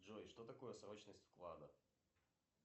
джой что такое срочность вклада